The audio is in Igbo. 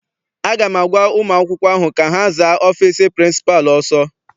Aga m agwa ụmụ akwụkwọ ahụ ka ha zaa ọfịịsi pịrịnsịpalụ ọsọ!